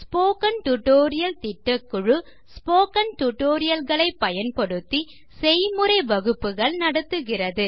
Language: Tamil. ஸ்போக்கன் டியூட்டோரியல் திட்டக்குழு ஸ்போக்கன் டியூட்டோரியல் களை பயன்படுத்தி செய்முறை வகுப்புகள் நடத்துகிறது